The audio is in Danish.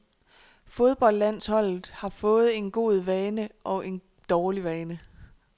Fodboldlandsholdet har fået en god vane og en dårlig vane.